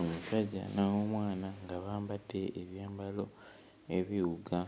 Omusajja n'omwana nga bambadde ekyambalo ebiwuga,